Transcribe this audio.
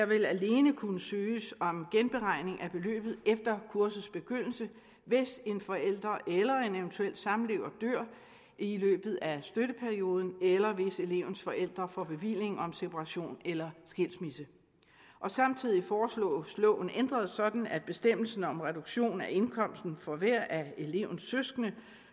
vil alene kunne søges om genberegning af beløbet efter kursets begyndelse hvis en forælder eller en eventuel samlever dør i løbet af støtteperioden eller hvis elevens forældre får bevilling om separation eller skilsmisse samtidig foreslås loven ændret sådan at bestemmelsen om reduktion af indkomsten for hver af elevens søskende